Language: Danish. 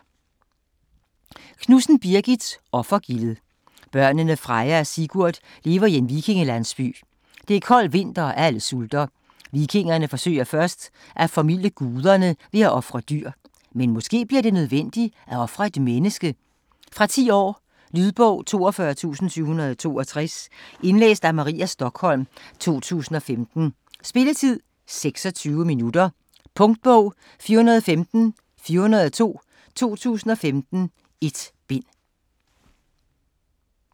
Knudsen, Birgit: Offergildet Børnene Freja og Sigurd lever i en vikingelandsby. Det er kold vinter, og alle sulter. Vikingerne forsøger først at formilde guderne ved at ofre dyr. Men måske bliver det nødvendigt, at ofre et menneske? Fra 10 år. Lydbog 42762 Indlæst af Maria Stokholm, 2015. Spilletid: 0 timer, 26 minutter. Punktbog 415402 2015. 1 bind.